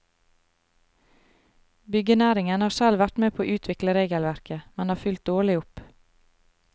Byggenæringen har selv vært med på å utvikle regelverket, men har fulgt dårlig opp.